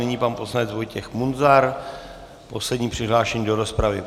Nyní pan poslanec Vojtěch Munzar, poslední přihlášený do rozpravy.